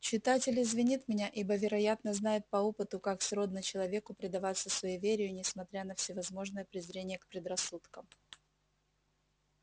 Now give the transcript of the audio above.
читатель извинит меня ибо вероятно знает по опыту как сродно человеку предаваться суеверию несмотря на всевозможное презрение к предрассудкам